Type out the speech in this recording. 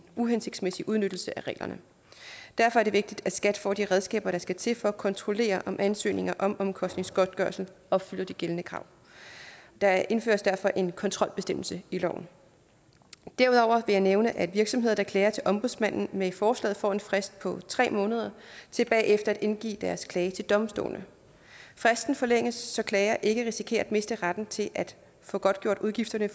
uhensigtsmæssig udnyttelse af reglerne derfor er det vigtigt at skat får de redskaber der skal til for at kontrollere om ansøgninger om omkostningsgodtgørelse opfylder de gældende krav der indføres derfor en kontrolbestemmelse i loven derudover jeg nævne at virksomheder der klager til ombudsmanden med forslaget får en frist på tre måneder til bagefter at indgive deres klage til domstolene fristen forlænges så klager ikke risikerer at miste retten til at få godtgjort udgifterne